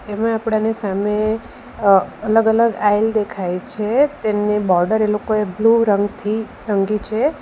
એમાં આપણાને સામે અ અલગ-અલગ આઇલ દેખાય છે તેમની બોર્ડર એ લોકોએ બ્લુ રંગથી રંગી છે.